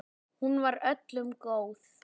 Hún var öllum góð.